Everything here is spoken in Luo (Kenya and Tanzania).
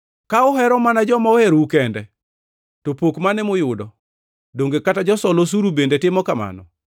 Ka uhero mana joma oherou kende, to pok mane muyudo? Donge kata josol osuru bende timo mano?